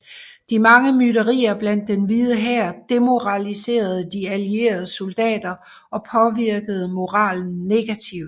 De mange mytterier blandt Den Hvide Hær demoraliserede De Allieredes soldater og påvirkede moralen negativt